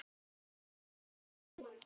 Þetta var bara gaman.